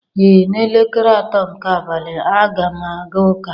Ee n'elekere atọ nke abalị, a ga m aga ụka.